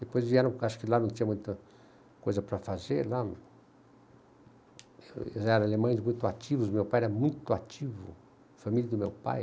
Depois vieram, acho que lá não tinha muita coisa para fazer, lá, eles eram alemães muito ativos, meu pai era muito ativo, a família do meu pai.